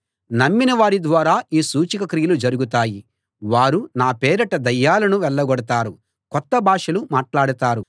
నమ్మిన వారి ద్వారా ఈ సూచక క్రియలు జరుగుతాయి వారు నా పేరిట దయ్యాలను వెళ్ళగొడతారు కొత్త భాషలు మాట్లాడతారు